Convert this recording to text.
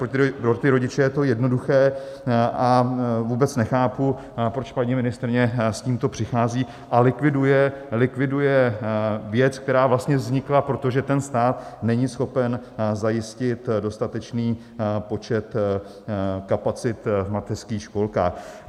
Pro ty rodiče je to jednoduché a vůbec nechápu, proč paní ministryně s tímto přichází a likviduje věc, která vlastně vznikla proto, že stát není schopen zajistit dostatečný počet kapacit v mateřských školkách.